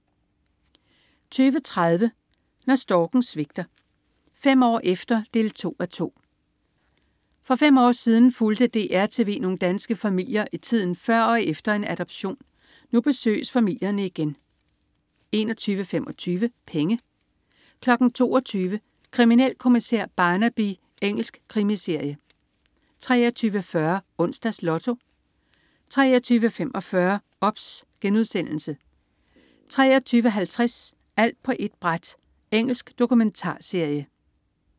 20.30 Når storken svigter. Fem år efter 2:2. For fem år siden fulgte DR TV nogle danske familier i tiden før og efter en adoption. Nu besøges familierne igen 21.25 Penge 22.00 Kriminalkommissær Barnaby. Engelsk krimiserie 23.40 Onsdags Lotto 23.45 OBS* 23.50 Alt på ét bræt. Engelsk dokumentarserie